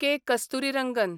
K. Kasturirangan